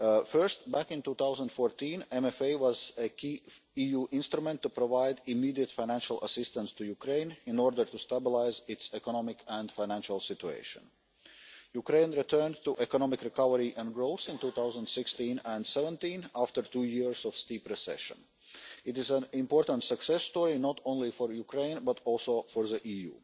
First, back in 2014, the MFA was a key EU instrument to provide immediate financial assistance to Ukraine in order to stabilise its economic and financial situation. Ukraine returned to economic recovery and growth in 2016 and 2017, after two years of steep recession. It is an important success story, not only for Ukraine, but also for the EU.